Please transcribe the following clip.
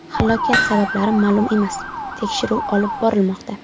Halokat sabablari ma’lum emas, tekshiruv olib borilmoqda.